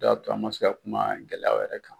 O de y'a to an ma se ka kuma gɛlɛya o yɛrɛ kan